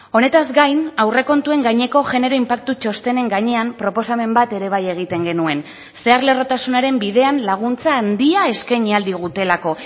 honetaz gain aurrekontuen gaineko genero inpaktu txostenen gainean proposamen bat ere bai egiten genuen zeharlerrotasunaren bidean laguntza handia eskaini ahal digutelako